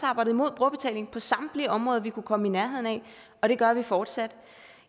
arbejdet imod brugerbetaling på samtlige områder vi kunne komme i nærheden af og det gør vi fortsat